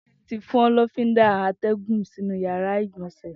Titi ti fọn lọfindá àtẹ̀gún sinú iyàrá igbọnsẹ̀